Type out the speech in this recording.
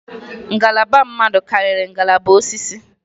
Ngalaba mmadụ karịrị ngalaba osisi.